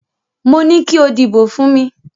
Mo ní kí o dìbò fún mi.